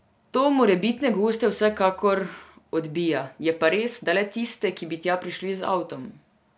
To morebitne goste vsekakor odbija, je pa res, da le tiste, ki bi tja prišli z avtom.